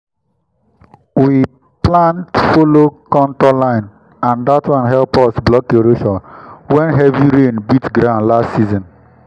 we plant follow contour line and that one help us block erosion when heavy rain beat ground last season.